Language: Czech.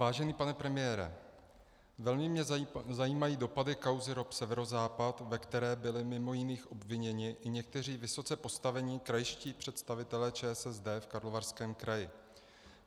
Vážený pane premiére, velmi mě zajímají dopady kauzy ROP Severozápad, ve které byli mimo jiných obviněni i někteří vysoce postavení krajští představitelé ČSSD v Karlovarském kraji.